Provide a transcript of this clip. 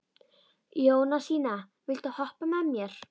Jónasína, viltu hoppa með mér?